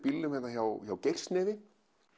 hjá hjá Geirsnefi